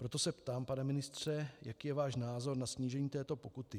Proto se ptám, pane ministře, jaký je váš názor na snížení této pokuty.